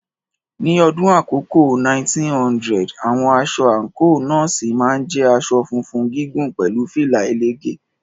Ní ọdún àkọ́kọ́ 1900, àwọn aṣọ àǹkóò Nọ́ọ̀sì máa ń jẹ́ aṣọ funfun gígùn pẹ̀lú fìlà ẹlẹ́gẹ̀ẹ́.